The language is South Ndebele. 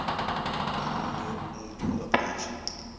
omunye umuntu ngaphandle